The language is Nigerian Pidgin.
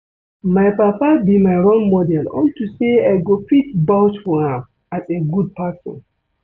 My papa be my role model unto say I go fit vouch for am as a good person